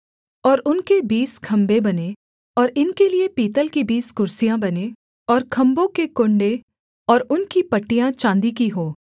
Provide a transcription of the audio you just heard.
और उनके बीस खम्भे बनें और इनके लिये पीतल की बीस कुर्सियाँ बनें और खम्भों के कुण्डे और उनकी पट्टियाँ चाँदी की हों